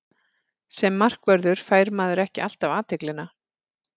Sem markvörður fær maður ekki alltaf athyglina.